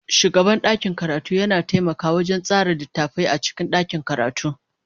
Shugaban ɗakin karatu yana taimakawa wajen tsara littattafai a cikin ɗakin karatu.